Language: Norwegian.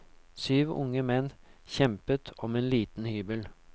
Syv unge menn kjempet om en liten hybel.